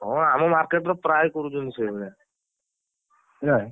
ହଁ ଆମ market ର ପ୍ରାୟ କରୁଛନ୍ତି ସେଇଭଳିଆ ନା।